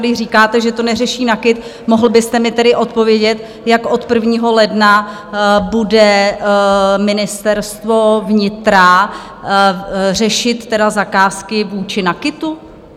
Když říkáte, že to neřeší NAKIT, mohl byste mi tedy odpovědět, jak od 1. ledna bude Ministerstvo vnitra řešit zakázky vůči NAKITu?